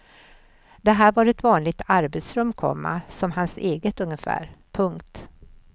Det här var ett vanligt arbetsrum, komma som hans eget ungefär. punkt